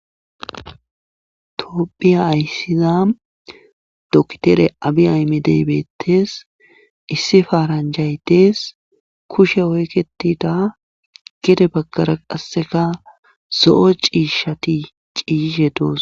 toophiya ayssiza doktere abi aymi deybettes issi faaranjay dees kushe oykketida gede baggara qasseka so7o ciishati ciishe doos